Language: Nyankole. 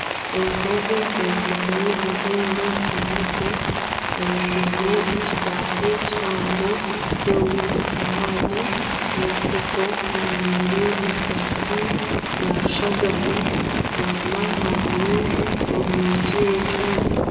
Omukazi ayekomire omwenda omu mutwe, ayegwire ekibafu kihango kirimu esuwani n'ebikopo. Ajwire esaati ya rushagama enyima hariyo oryigi rw'ekyoma.